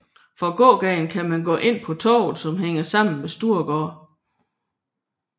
Fra gågaden kan man gå ind på Torvet som hænger sammen med Storegade